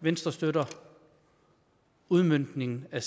venstre støtter udmøntningen af